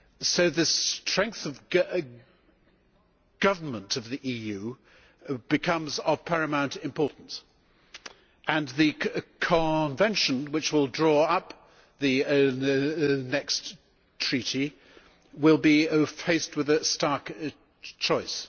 So the strength of government of the EU becomes of paramount importance and the convention which will draw up the next treaty will be faced with a stark choice.